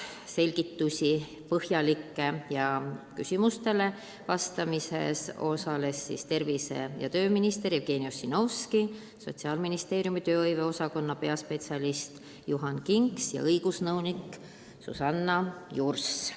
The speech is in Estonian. Põhjalikke selgitusi andsid ja küsimustele vastamises osalesid tervise- ja tööminister Jevgeni Ossinovski, Sotsiaalministeeriumi tööhõive osakonna peaspetsialist Juhan Kinks ja õigusnõunik Susanna Jurs.